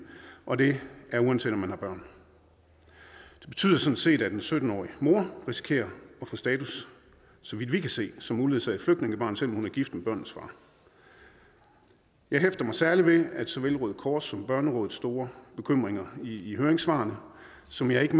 og det er uanset om man har børn det betyder sådan set at en sytten årig mor risikerer at få status så vidt vi kan se som uledsaget flygtningebarn selv om hun er gift med børnenes far jeg hæfter mig særligt ved såvel røde kors som børnerådets store bekymringer i høringssvarene som jeg ikke